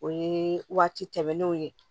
O ye waati tɛmɛnenw ye